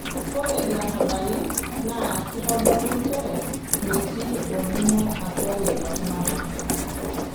Ore ilarabali naa keitodolu nchere metii olning'o atua lelo tung'ana.